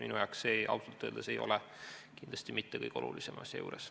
Minu jaoks see ausalt öeldes ei ole kindlasti mitte kõige olulisem asja juures.